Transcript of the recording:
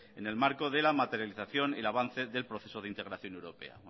en el marco de la materialización y el avance del proceso de integración europea